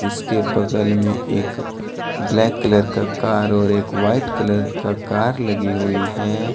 उसके बगल में एक ब्लैक कलर का कार और एक वाइट कलर का कार लगी हुई है।